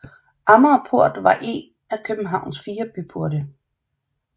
Amagerport var en af Københavns fire byporte